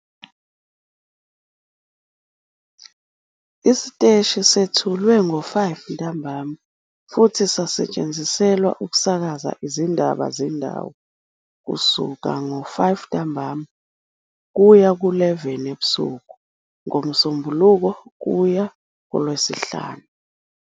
Isiteshi sethulwe ngo-17:00 CAT futhi sasetshenziselwa ukusakaza izindaba zendawo kusuka ngo-17:00 CAT kuya ku-23:00 CAT ngoMsombuluko kuya kuLwesihlanu.